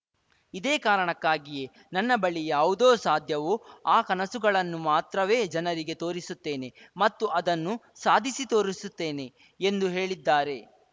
ಇದೇ ಕಾರಣಕ್ಕಾಗಿಯೇ ನನ್ನ ಬಳಿ ಯಾವುದೋ ಸಾಧ್ಯವೋ ಆ ಕನಸುಗಳನ್ನು ಮಾತ್ರವೇ ಜನರಿಗೆ ತೋರಿಸುತ್ತೇನೆ ಮತ್ತು ಅದನ್ನು ಸಾಧಿಸಿ ತೋರಿಸುತ್ತೇನೆ ಎಂದು ಹೇಳಿದ್ದಾರೆ